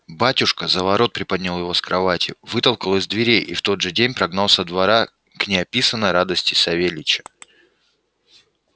батюшка за ворот приподнял его с кровати вытолкал из дверей и в тот же день прогнал со двора к неописанной радости савельича